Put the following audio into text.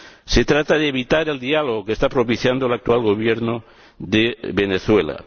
Se trata de evitar el diálogo que está propiciando el actual Gobierno de Venezuela.